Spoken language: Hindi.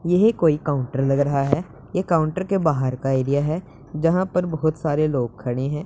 येहे कोई काउंटर लग रहा हैं ये काउंटर के बाहर का एरिया हैं जहां पर बहोत सारे लोग खड़े हैं।